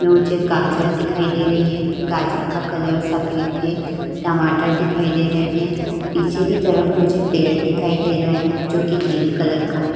मुझे गाजर दिखाई दे रही है। गाजर का कलर सफेद है। टमाटर दिखाई दे रहे हैं। पीछे की तरफ मुझे पेड़ दिखाई दे रहा है जो कि ग्रीन कलर है।